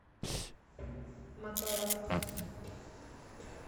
моторов